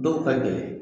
Dɔw ka gɛlɛn